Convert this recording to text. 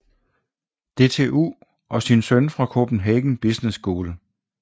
DTU og sin søn fra Copenhagen Business School